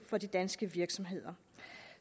for de danske virksomheder